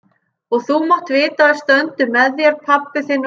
Og þú mátt vita að við stöndum með þér, pabbi þinn og ég.